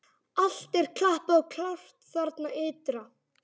Allt er klappað og klárt þarna ytra!